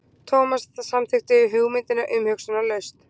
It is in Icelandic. Thomas samþykkti hugmyndina umhugsunarlaust.